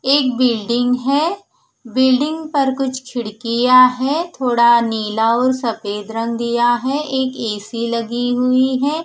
एक बिल्डिंग है बिल्डिंग पर कुछ खिडकिय है थोडा नीला और सफेद रंग दिया है एक एसी लगी हुई है।